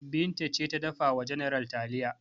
Binta ce ta dafa wa general taliya.